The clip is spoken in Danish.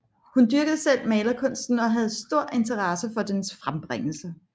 Hun dyrkede selv malerkunsten og havde stor interesse for dens frembringelser